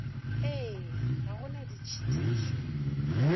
ee ga go na ditšhitišo